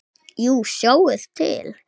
Jú, sjáið til.